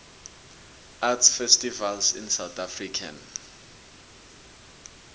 art festivals in south african